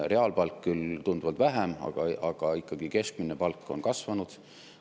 Reaalpalk küll tunduvalt vähem, aga ikkagi keskmine palk on kasvanud.